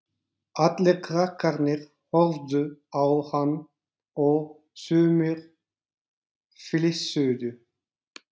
Allir krakkarnir horfðu á hann og sumir flissuðu.